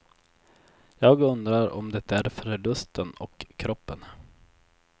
Jag undrar om det är för lusten och kroppen.